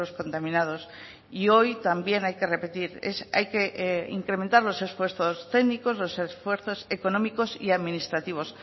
contaminados y hoy también hay que repetir hay que incrementar los esfuerzos técnicos los esfuerzos económicos y administrativos